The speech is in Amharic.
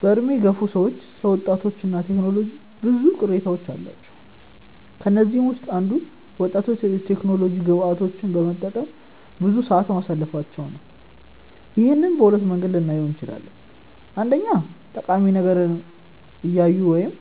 በዕድሜ የገፉ ሰዎች ስለ ወጣቶች እና ቴክኖሎጂ ብዙ ቅሬታዎች አሏቸው። ከነዚህም ውስጥ አንዱ ወጣቶች የቴክኖሎጂ ግብአቶችን በመጠቀም ብዙ ሰዓት ማሳለፋቸው ነው። ይህንን በሁለት መንገድ ልናየው እንችላለን። አንደኛ ጠቃሚ ነገር እያዩ ወይም